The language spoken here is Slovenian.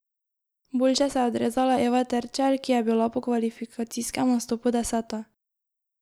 Boljše se je odrezala Eva Terčelj, ki je bila po kvalifikacijskem nastopu deseta.